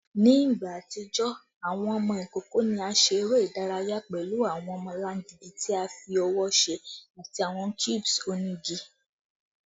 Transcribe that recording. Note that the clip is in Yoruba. Ni igba atijọ, awọn ọmọ ikoko ni a ṣe ere idaraya pẹlu awọn ọmọlangidi ti a fi ọwọ ṣe ati awọn cubes onigi